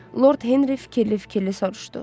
Lord Henri fikirli-fikirli soruşdu.